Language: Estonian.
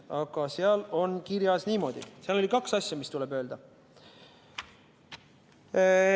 Seal on kirjas niimoodi, seal oli kaks asja, mis tuleb öelda.